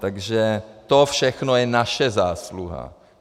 Takže to všechno je naše zásluha.